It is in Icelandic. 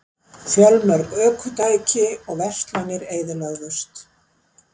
Fjölmörg ökutæki og verslanir eyðilögðust